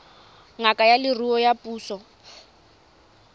ngaka ya leruo ya puso